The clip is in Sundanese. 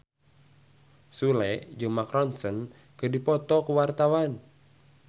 Sule jeung Mark Ronson keur dipoto ku wartawan